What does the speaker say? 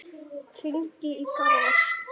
Hringi í Garðar.